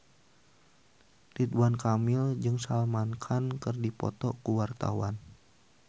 Ridwan Kamil jeung Salman Khan keur dipoto ku wartawan